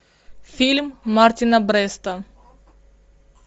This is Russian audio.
фильм мартина бреста